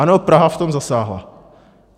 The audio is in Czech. Ano, Praha v tom zasáhla.